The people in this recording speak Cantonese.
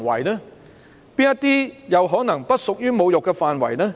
哪些不屬於侮辱範圍？